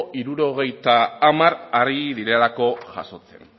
hirurogeita hamar ari direlako jasotzen